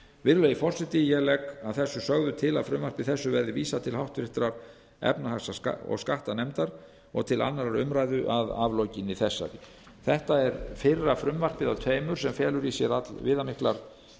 virðulegi forseti ég legg að þessu sögðu til að frumvarpi þessu verði vísað til háttvirtrar efnahags og skattanefndar og til annarrar umræðu að aflokinni þessari þetta er fyrra frumvarpið af tveimur sem felur í sér allviðamiklar